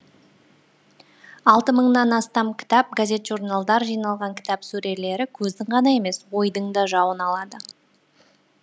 алты мыңнан астам кітап газет журналдар жиналған кітап сөрелері көздің ғана емес ойдың да жауын алады